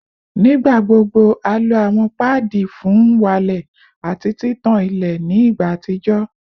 Nigbagbogbo a lo awọn paadi fun n walẹ ati titan ile ni igba atijọ